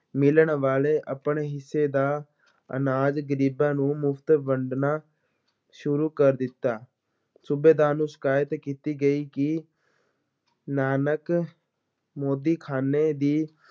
ਮਿਲਨ ਵਾਲੇ ਆਪਣੇ ਹਿੱਸੇ ਦਾ ਅਨਾਜ ਗਰੀਬਾਂ ਨੂੰ ਮੁਫ਼ਤ ਵੰਡਣਾ ਸ਼ੁਰੂ ਕਰ ਦਿੱਤਾ, ਸੂਬੇਦਾਰ ਨੂੰ ਸ਼ਿਕਾਇਤ ਕੀਤੀ ਗਈ ਕਿ ਨਾਨਕ ਮੋਦੀਖ਼ਾਨੇ ਦੀ